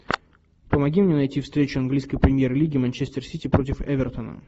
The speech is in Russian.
помоги мне найти встречу английской премьер лиги манчестер сити против эвертона